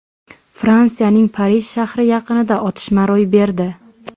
Fransiyaning Parij shahri yaqinida otishma ro‘y berdi.